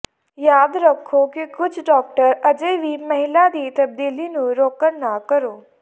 ਯਾਦ ਰੱਖੋ ਕਿ ਕੁਝ ਡਾਕਟਰ ਅਜੇ ਵੀ ਮਹਿਲਾ ਦੀ ਤਬਦੀਲੀ ਨੂੰ ਰੋਕਣ ਨਾ ਕਰੋ